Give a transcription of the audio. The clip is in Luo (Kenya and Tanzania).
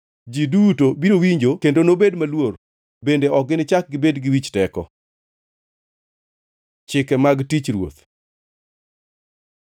Ji duto biro winjo kendo nobed maluor bende ok ginichak gibed gi wich teko. Chike mag tich Ruoth